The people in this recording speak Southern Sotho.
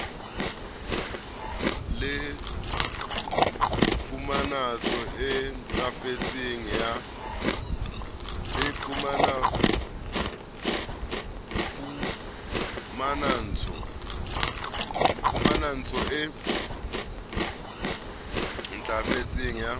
le phumantso e ntlafetseng ya